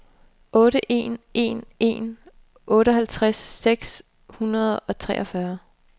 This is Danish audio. otte en en en otteoghalvtreds seks hundrede og treogfyrre